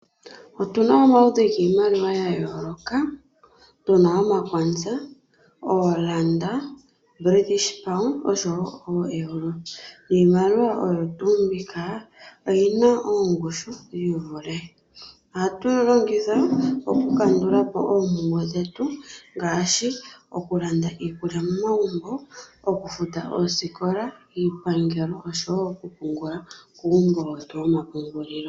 Otu na omaludhi giimaliwa gayooloka tu na omaKwanza, ooRand, British Pound osho wo ooEuro niimaliwa oyo tuu mbika oyi na oongushu dhiivule. Ohatu yi longitha okukandula po oompumbwe dhetu ngaashi okulanda iikulya momagumbo, okufuta oosikola, iipangelo osho wo okupungula kuumbo wetu womapungulilo.